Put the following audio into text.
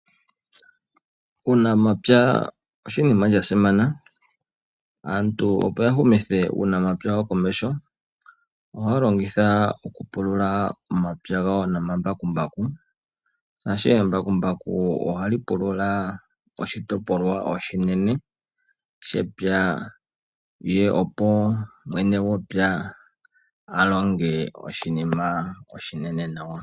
Uunamapya oshinima sha simana. Aantu opo ya humithe uunamapya wawo komeho, ohaa longitha okupulula omapya gawo nomambakumbaku. Embakumbaku ohali pulula oshitopolwa oshinene, shepya opo mwene gwepya a longe oshinima oshinene nawa.